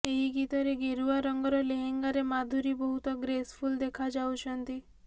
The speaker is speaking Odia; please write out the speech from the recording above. ଏହି ଗୀତରେ ଗେରୁଆ ରଙ୍ଗର ଲେହେଙ୍ଗାରେ ମାଧୁରୀ ବହୁତ ଗ୍ରେସଫୁଲ ଦେଖାଯାଉଛନ୍ତି